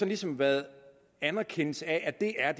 ligesom været anerkendelse af at det er